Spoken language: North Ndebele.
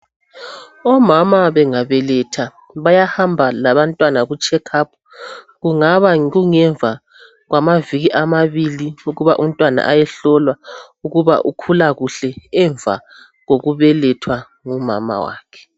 Omama bengabeletha bayahamba labantwana kucheck up kungaba ngemva kwamaviki amabili ukuba umntwana ayehlolwa ukuba ukhula kuhle emva kokubelethwa ngumama wakhe